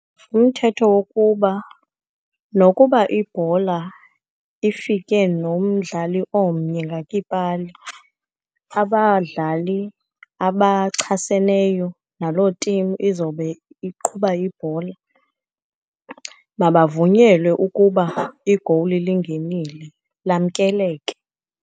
Umthetho wokuba nokuba ibhola ifike nomdlali omnye, ngakiipali abadlali abachaseneyo naloo team izobe iqhuba ibhola, mabavunyelwe ukuba igowuli lingenile, lamkeleke.